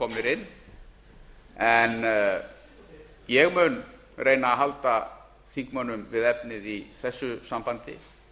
þeir eru komnir inn ég mun reyna að halda þingmönnum við efnið í þessu sambandi